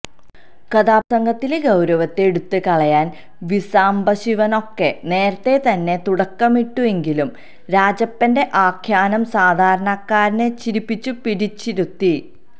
കഥാപ്രസംഗത്തിലെ ഗൌരവത്തെ എടുത്തു കളയാന് വി സാംബശിവനൊക്കെ നേരത്തെ തന്നെ തുടക്കമിട്ടു എങ്കിലും രാജപ്പന്റെ ആഖ്യാനം സാധാരണക്കാരനെ ചിരിപ്പിച്ചു പിടിച്ചിരുത്തി